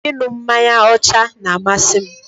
Ị ṅu mmanya ọcha n'amasị m